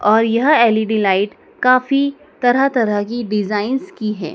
और यह L E D light काफी तरह तरह की डिजाइंस की है।